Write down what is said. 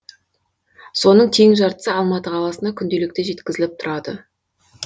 соның тең жартысы алматы қаласына күнделікті жеткізіліп тұрады